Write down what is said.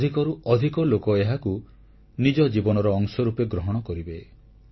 ଅଧିକରୁ ଅଧିକ ଲୋକ ଏହାକୁ ନିଜ ଜୀବନର ଅଂଶ ରୂପେ ଗ୍ରହଣ କରିବେ